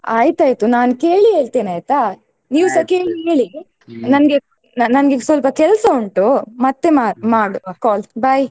ಆಯ್ತಯ್ತು ನಾನ್ ಕೇಳಿ ಹೇಳ್ತೇನ ಆಯ್ತ ಹೇಳಿ ನನ್ಗೆ ಈಗ ಸ್ವಲ್ಪ ಕೆಲ್ಸ ಉಂಟು ಮತ್ತೆ ಮಾಡುವ call bye .